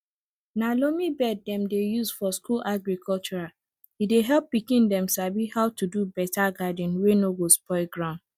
na loamy beds dem dey use for school agriculture e dey help pikin dem sabi how to do better garden wey no go spoil ground